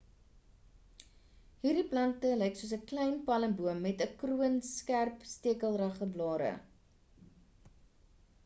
hierdie plante lyk soos 'n klein palmboom met 'n kroon skerp stekelrige blare